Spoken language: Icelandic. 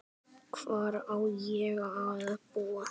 Hvar á ég að búa?